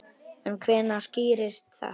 En hvenær skýrist þetta?